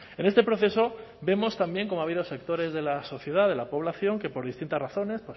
en este proceso vemos también como ha habido sectores de la sociedad de la población que por distintas razones